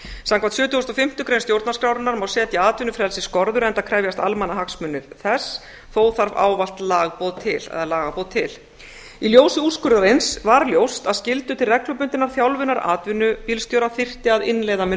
samkvæmt sjötugustu og fimmtu grein stjórnarskrárinnar má setja atvinnufrelsi skorður enda krefjast almannahagsmunir þess þó þarf ávallt lagaboð til í ljósi úrskurðarins var ljóst að skyldur til reglubundinnar þjálfunar atvinnubílstjóra þyrfti að innleiða með